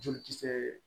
Joli kisɛɛ